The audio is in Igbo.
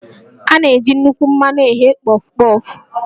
A na-eji nnukwu mmanụ eghe Pọf-Pọf